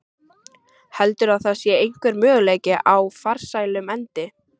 Heldurðu að það sé einhver möguleiki á farsælum endi?